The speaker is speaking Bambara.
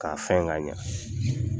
K'a fɛn ka ɲɛ.